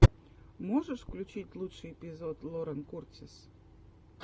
можешь включить лучший эпизод лорен куртис